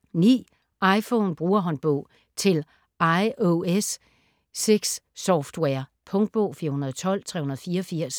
iPhone Brugerhåndbog til iOS 6-software Punktbog 412384